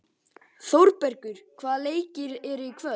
Þórbergur, hvaða leikir eru í kvöld?